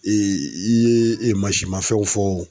i ye mansimafɛnw fɔ.